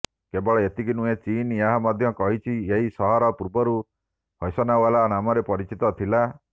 କେବଳ ଏତିକି ନୁହେଁ ଚୀନ୍ ଏହା ମଧ୍ୟ କହିଛି ଏହି ସହର ପୂର୍ବରୁ ହୈସନୱାଇ ନାମରେ ପରିଚିତ ଥିଲା